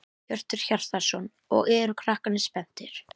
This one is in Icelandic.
Hjörtur Hjartarson: Og eru krakkarnir spenntir?